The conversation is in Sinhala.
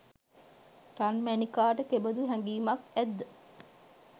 රන්මැණිකාට කෙබදු හැගීමක් ඇත්ද?